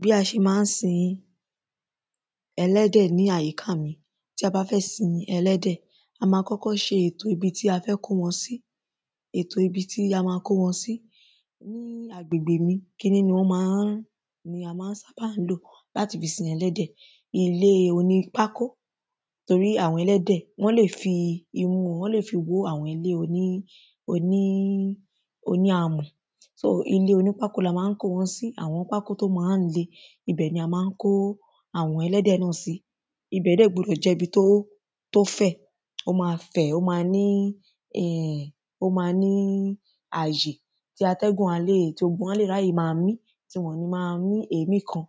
Bí a ṣe má ń sin ẹlẹ́dẹ̀ ní àyíká mi tí a bá fẹ́ sin ẹlẹ́dẹ̀ a má kọ́kọ́ ṣe ètò ibi tí a fẹ́ kó wọn sí ètò ibi tí a má kó wọn sí agbègbè mi kiní ni a wọ́n má ń sábà lò láti fi sin ẹlẹ́dẹ̀ ilé onípákó torí àwọn ẹlẹ́dẹ̀ wọ́n lè fi imú wọn wọ́n lè fi wó ilé àwọn oní oní oní amọ̀ só ilé oní pákó la má ń kó wọn sí àwọn ilé oní pákó náà ibẹ̀ ni a má ń kó àwọn ẹlẹ́dẹ̀ náà sí ibẹ̀ dẹ̀ gbọdọ̀ jẹ́ ibi tó fẹ̀ ibẹ̀ má ní um ó má ní àyè tí atẹ́gùn á lè tí gbogbo wọn á lè ráyè má mí tí gbogbo wọn ò ní má mí è́í kan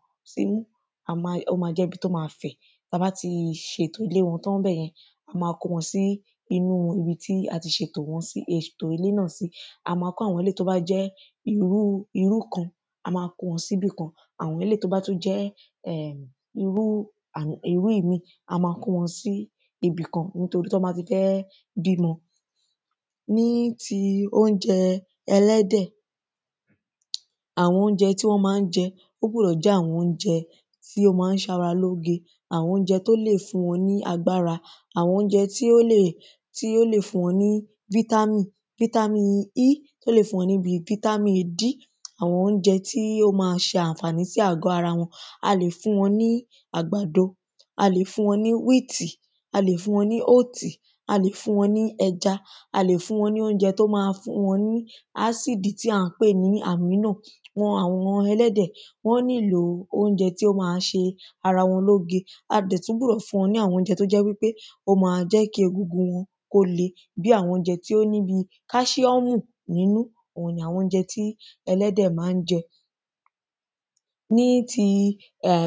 a má ó má jẹ́gi tó má fẹ̀ tá bá ti ṣètò ilé wọn tán a má kó wọn sí ibi tí a ti ṣètò sí ètò ilé wọn sí a má kó àwọn eléèyí tó bá jẹ́ irú kan a má kó wọn síbì kã àwọn eléèyí tó bá tún jẹ́ irú àwọn irú míì a má kó wọn sí ibì kan torí tán bá ti fẹ́ bímọ. Ní ti óúnjẹ ẹlẹ́dẹ̀ àwọn óúnjẹ tí wọ́n má ń jẹ ó gbọ́dọ̀ jẹ́ àwọn óúnjẹ tí wọ́n má ń ṣara lóre àwọn óúnjẹ tó lè fún wọn ní agbára àwọn óúnjẹ tó lè tí ó lè fún wọn ní fítámì fítámì d fítámì b àwọn óúnjẹ tí ó má ṣànfàní fún àgọ́ ara wọn a lè fún wọn ní àgbàdo a lè fún wọn ní wheat a lè fún wọn ní oat a lè fún wọn ní ẹja a lè fún wọn ní óúnjẹ tó má ní a sí dí tí à ń pè ní ànímọ̀ dí àwọn ẹlẹ́dẹ̀ wọ́n nílò óúnjẹ tí ó má ṣe ara wọn lóge a dẹ̀ tún gbọ́dọ̀ fún wọn ní àwọn óúnjẹ tó jẹ́ wípé ó má jẹ́ kí egungun wọn kó le bí àwọn óúnjẹ tí ó ní bí káṣiọ́mù nínú òhun ni àwọn óúnjẹ tí ẹlẹ́dẹ̀ má ń jẹ. Ní ti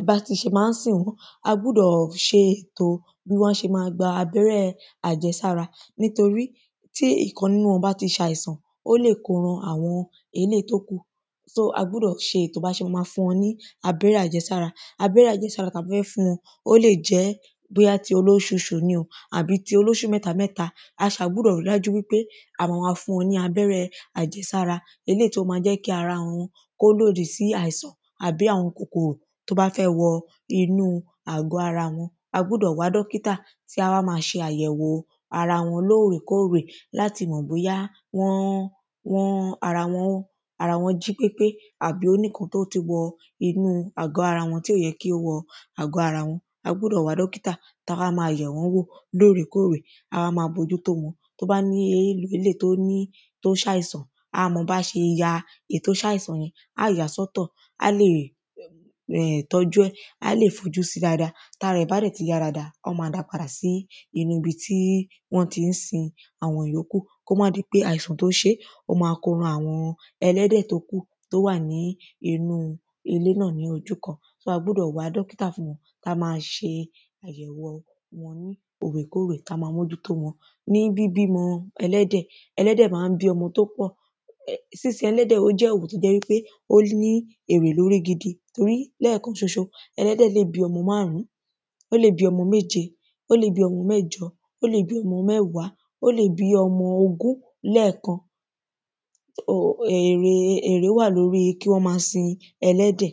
bá ti ṣe má ń sìn wọ́n a gbúdọ̀ ṣe ètò bí wọ́n ṣe má gba abẹ́rẹ́ àjẹsára nítorí tí ìkan nínú wọn bá ti ṣàìsàn ó lè kó ran àwọn tó kù so a gbúdọ̀ ṣe ètò bí a ṣe má fún wọn ní abẹ́rẹ́ àjẹsára ó lè jẹ́ bóyá ti olóṣuṣu ni o tàbí olóṣù mẹ́ta a ṣá gbúdọ̀ rí dájú wípé a má fún wọn ní abẹ́rẹ́ àjẹsára eléèyí tí ó má jẹ́ kí ara wọn kó lòdì sí àwọn kòkòrò tó bá fẹ́ wọ inú àgọ́ ara wọn a gbúdọ̀ wá dọ́kítà tí a wá má ṣe àyẹ̀wò ara wọn lórè kórè tí a má mọ̀ bóyá wọ́n wọ́n ara wọn jí pépé àbí ó ní nǹkan tí ó ti wọ inú àgọ́ ara tí ò yẹ kí ó wọ àgọ́ ara wọn a gbúdọ̀ wá dọ́kítà tó wá má wá yẹ̀ wọ́n wò lórè kórè a wá má bójútó wọn tó bá ní eléèyí tó ṣàìsàn a mọ bá ṣe ya èyí tó ṣáìsàn yẹn á yàá sọ́tọ̀ um tọ́jú ẹ̀ á lè fojú sí dáada tára ẹ̀ bá dẹ̀ ti yá dáada wọ́n má dá padà sí nínú ibi tí wọ́n tí ń sin àwọn ìyókù kó má di pé àìsàn tó ṣé ó má kó ran àwọn ẹlẹ́dẹ̀ tó kù tó wà nínú ilé náà ní ojú kan so a gbúdọ̀ wá dọ́kítà fún wọn a má ṣe àyẹ̀wò ní òrèkòrè fún ẹlẹ́dẹ̀ ní bíbímọ ẹlẹ́dẹ̀ ẹlẹ́dẹ̀ má ń bí ọmọ tó pọ̀ sínsin ẹlẹ́dẹ̀ ó jẹ́ ọ̀nà tó jẹ́ wípé ó ní èrè lórí gidi torí lẹ́kan ṣoṣo ẹlẹ́dẹ̀ lè bí ọmọ márùn ún ó lè bí ọmọ méje ó lè bí ọmọ mẹ́jọ ó lè bí ọmọ mẹ́wàá ó lè bí ọmọ ogún lẹ́kan èrè èrè wà lórí kí wọ́n má sin ẹlẹ́dẹ̀.